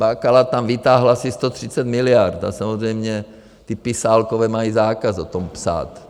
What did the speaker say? Bakala tam vytáhl asi 130 miliard a samozřejmě ty pisálkové mají zákaz o tom psát.